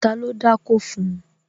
Ta ló dákó fun?